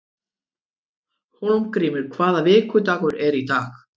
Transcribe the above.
Hólmgrímur, hvaða vikudagur er í dag?